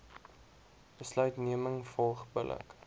besluitneming volg billik